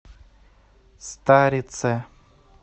старице